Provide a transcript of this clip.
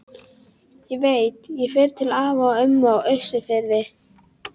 Ég veit, ég fer til afa og ömmu á Austurfirði